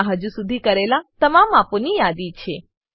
તેમાં હજુ સુધી કરેલા તમામ માપોની યાદી છે